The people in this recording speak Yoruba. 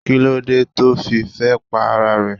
Kílódé tí ó fi fẹ́ pa ara rẹ̀?